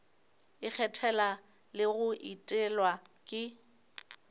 ikgethela le go etelwa ke